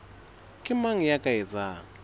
ke mang ya ka etsang